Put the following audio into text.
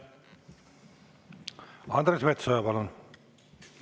Andres Metsoja, palun!